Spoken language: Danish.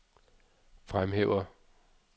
fremhæver